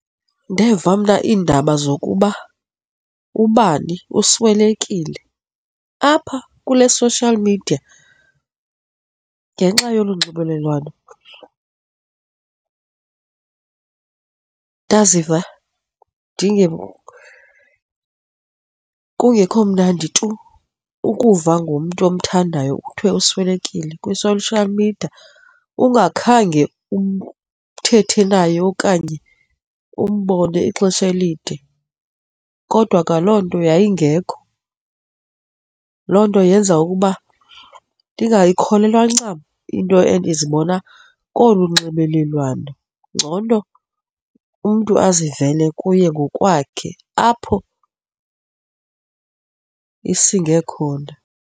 Ndeva mna iindaba zokuba ubani uswelekile apha kule social media ngenxa yolu nxibelelwano. Ndaziva kungekho mnandi tu ukuva ngomntu omthandayo kuthiwe uswelekile kwi-social media ungakhange uthethe naye okanye umbone ixesha elide kodwa kwa loo nto yayingekho. Loo nto yenza ukuba ndingayikholelwa ncam into abe ndizibona kolu nxibelelwano, ngcono nto umntu aziveli kuye ngokwakhe apho isinge khona.